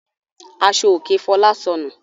Aṣọòkè Fọlá sọnù.